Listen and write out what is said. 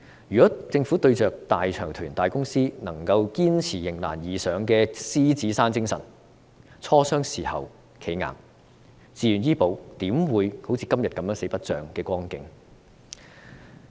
如果政府對着大財團、大公司，能夠堅持迎難而上的獅子山精神，磋商的時候"企硬"，自願醫保怎會成為今天"四不像"的光景？